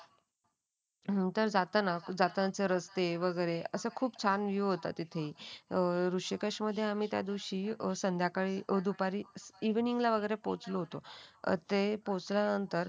नंतर जाताना जातानाचे रस्ते रस्ते वगैरे असे खूप छान व्हियूहोत तिथं अ ऋषिकेश मध्ये आम्ही त्यादिवशी संध्याकाळी दुपारी इवनिंग ला पोहोचलो होतो. ते पोहोचल्यानंतर